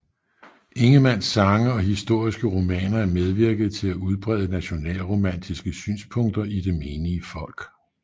Ingemanns sange og historiske romaner medvirkede til at udbrede nationalromantiske synspunkter i det menige folk